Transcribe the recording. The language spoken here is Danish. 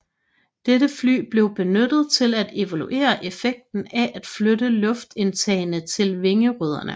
Dette fly blev benyttet til at evaluere effekten af at flytte luftindtagene til vingerødderne